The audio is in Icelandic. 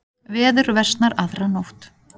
Veður versnar aðra nótt